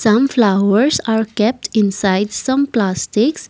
some flowers are kept inside some plastics.